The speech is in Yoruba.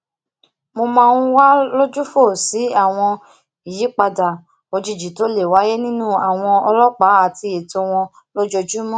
mo máa ń wà lójúfò sí àwọn àyípadà òjijì tó le wáyé nirin àwọn ọlópàá ati eto wọn lójoojúmó